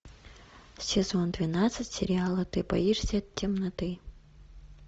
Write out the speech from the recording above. сезон двенадцать сериала ты боишься темноты